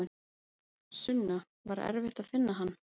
Sunna: Var erfitt að finna hann?